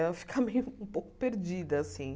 Eu ia ficar meio... um pouco perdida, assim.